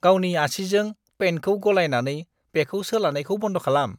गावनि आसिजों पैन्टखौ गलायनानै बेखौ सोलानायखौ बन्द' खालाम।